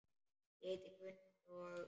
Ég heiti Gunnar og.